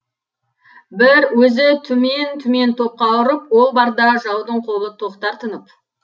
бір өзі түмен түмен топқа тұрып ол барда жаудың қолы тоқтар тынып